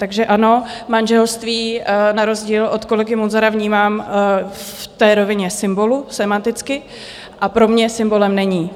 Takže ano, manželství na rozdíl od kolegy Munzara vnímám v té rovině symbolu sémanticky, a pro mě symbolem není.